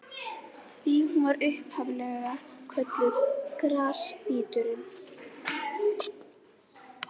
Því var hún upphaf-lega kölluð Grasbíturinn.